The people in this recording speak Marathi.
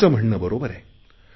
तुमचे म्हणणे बरोबर आहे